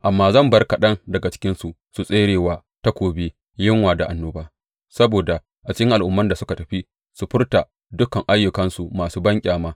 Amma zan bar kaɗan daga cikinsu su tsere wa takobi, yunwa da annoba, saboda a cikin al’umman da suka tafi su furta dukan ayyukansu masu banƙyama.